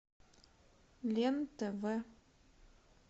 лен тв